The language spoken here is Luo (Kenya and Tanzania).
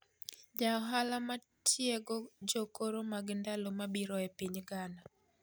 Jaohala matiego jokoro mag ndalo mabiro e piny Ghana.